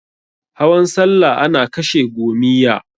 Hawan salla ana kashe gomiyya.